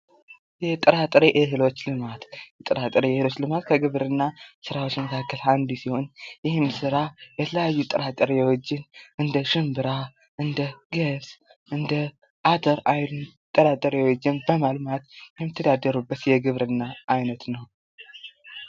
የጥራ ጥሬ እህሎች ልማት የጥራ ጥሬ እህሎች ልማት ከግብርና ስራዎች መካከል አንዱ ሲሆን ይህም ስራ የተለያዩ ጥራጥሬዎችን እንደ ሽንብራ፤ እንደ ገብስ፤ እንደ አተር አይነቶችን ጥራጥሬዎችን በማልማት የሚተዳደሩበት የግብርና አይነት ነው